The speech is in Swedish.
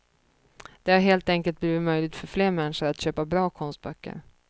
Det har helt enkelt blivit möjligt för fler människor att köpa bra konstböcker.